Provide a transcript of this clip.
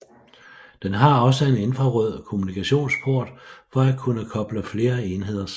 Den har også en infrarød kommunikationsport for at kunne koble flere enheder sammen